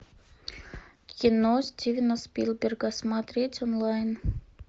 кино стивена спилберга смотреть онлайн